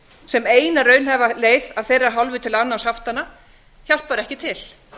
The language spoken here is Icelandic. sem eina raunhæfa leið af þeirra hálfu til afnáms haftanna hjálpar ekki til